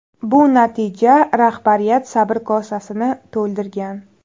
Bu natija rahbariyat sabr kosasini to‘ldirgan.